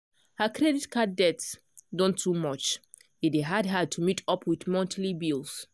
her credit card debt don too much e dey hard her to meet up with monthly bills.